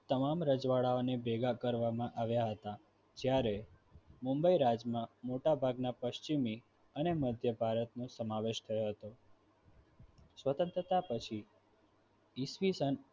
તમામ રજવાડાંઓને ભેગા કરવામાં આવ્યા હતા જ્યારે મુંબઇ રાજમાં મોટાભાગના પશ્ચિમી અને મધ્ય ભારતનો સમાવેશ થયો હતો સ્વતંત્રતા પછી ઈસવીસન